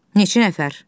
Neçə nəfər?